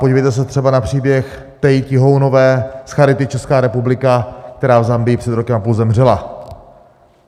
Podívejte se třeba na příběh Tey Tihounové z Charity Česká republika, která v Zambii před rokem a půl zemřela.